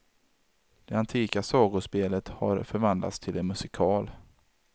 Det antika sagospelet har förvandlats till en musikal.